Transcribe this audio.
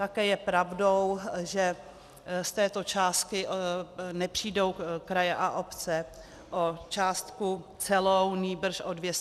Také je pravdou, že z této částky nepřijdou kraje a obce o částku celou, nýbrž o 219 milionů.